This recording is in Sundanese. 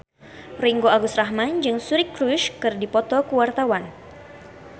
Ringgo Agus Rahman jeung Suri Cruise keur dipoto ku wartawan